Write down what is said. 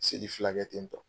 Seli fIla kɛ ten tɔ.